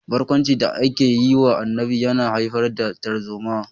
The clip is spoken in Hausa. Barkwancin da ake yi wa Annabi yana haifar da tarzoma